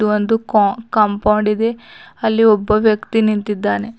ಒಂದು ಕೊ ಕಾಂಪೌಂಡ್ ಇದೆ ಅಲ್ಲಿ ಒಬ್ಬ ವ್ಯಕ್ತಿ ನಿಂತಿದ್ದಾನೆ.